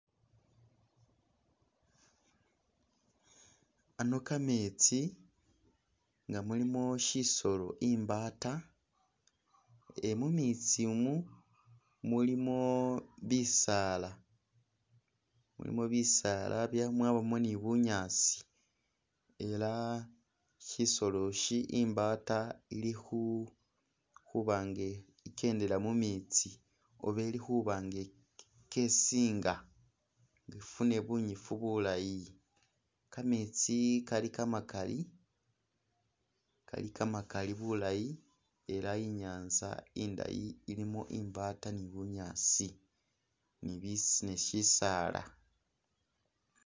Ano kametsi nga muilimo shisolo imbaata ni mumetsimu mulimo bisaala mulimo bisaala mwabamo ni bunyaasi ela shisoloshi imbaata ili khu khubanga itsendela mumitsi oba ili khuba nga ikesinga ifune bunyifu bulaayi, kametsi Kali kamakali kali kamakali bulayi ela inyanza indayi ilimo imbaata ni bunyaasi ni bi ni shisaala